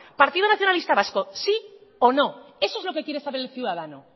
partido nacionalista vasco sí o no eso es lo que quiere saber el ciudadano